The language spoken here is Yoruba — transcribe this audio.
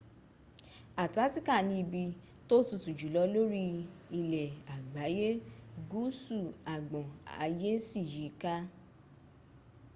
artatica ni ibi tó tutu jùlọ lórí ilè agbáyé gúúsú agbọn ayé sí yìí ka